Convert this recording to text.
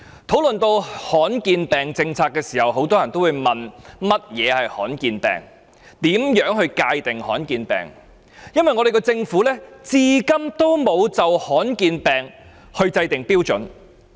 討論到罕見疾病政策，很多人會問何謂罕見疾病、如何界定罕見疾病，因為政府至今沒有就罕見疾病制訂標準。